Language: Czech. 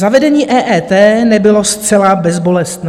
Zavedení EET nebylo zcela bezbolestné.